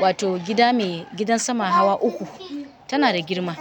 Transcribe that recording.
wato gida mai gidan sama hawa uku. Tana da girma.